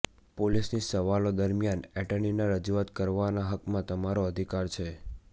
પોલીસની સવાલો દરમિયાન એટર્નીની રજૂઆત કરવાના હકમાં તમારો અધિકાર છે